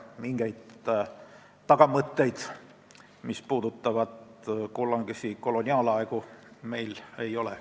Mingeid tagamõtteid, mis puudutavad kunagisi koloniaalaegu, meil ei ole.